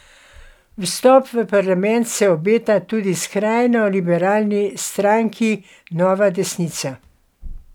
Vstop v parlament se obeta tudi skrajno liberalni stranki Nova desnica.